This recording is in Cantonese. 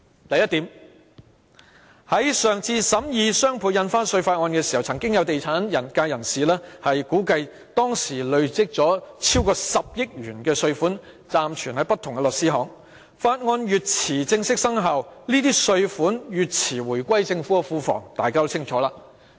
第一，在上次審議"雙倍印花稅"法案時，曾有地產界人士估計，當時累積超過10億元稅款暫存於不同的律師行，《條例草案》越遲正式生效，這些稅款越遲回歸政府庫房，這點大家都清楚。